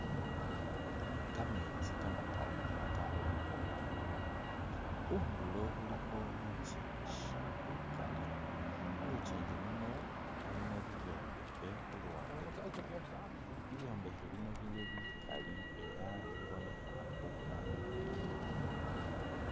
Kameetsi kamakali ela kakhubonekhelela blue , khundulo khulikho lukyinji lukali , mulukyinji muno mulimo ibyombekhe khu luwande lutwela , ibyombekhe bino bili bikali ela bibonekha bulaayi .